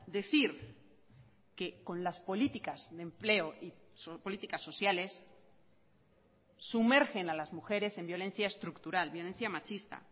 decir que con las políticas de empleo y políticas sociales sumergen a las mujeres en violencia estructural violencia machista